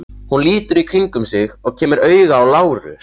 Hún lítur í kringum sig og kemur auga á Lárus.